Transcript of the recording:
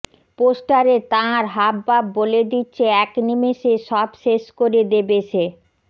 পোস্টারে তাঁর হাবভাব বলে দিচ্ছে এক নিমেষে সব শেষ করে দেবে সে